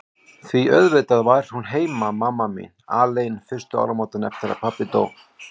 Því auðvitað var hún heima, mamma mín, alein fyrstu áramótin eftir að pabbi dó.